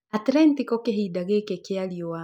Atlentico kĩhinda gĩkĩ kĩa riũa